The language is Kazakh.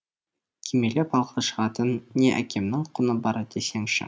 кимелеп алға шығатын не әкемнің құны бар десеңші